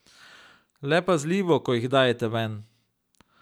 Le pazljivo, ko jih dajete ven.